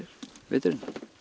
veturinn